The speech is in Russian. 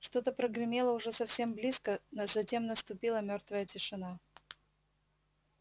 что-то прогремело уже совсем близко затем наступила мёртвая тишина